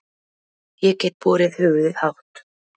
Ég get borið höfuðið hátt.